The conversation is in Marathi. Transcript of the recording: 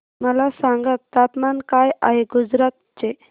मला सांगा तापमान काय आहे गुजरात चे